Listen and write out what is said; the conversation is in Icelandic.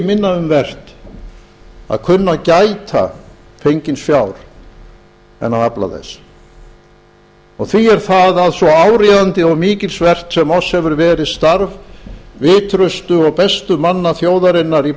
minna um vert að kunna að gæta fengins fjár en að afla þess og því er það að svo áríðandi og mikilsvert sem oss hefir verið starf vitrustu og bestu manna þjóðarinnar í